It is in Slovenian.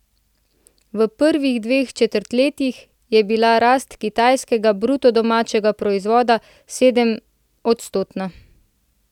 V prvih dveh četrtletjih je bila rast kitajskega bruto domačega proizvoda sedemodstotna.